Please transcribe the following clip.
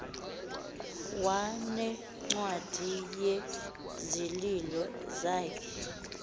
wanencwadi yezililo zakhe